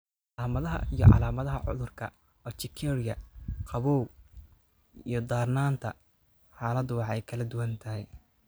Calaamadaha iyo calaamadaha cudurka urtikaria qabow iyo darnaanta xaaladdu way kala duwan tahay.